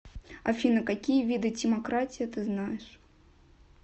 афина какие виды тимократия ты знаешь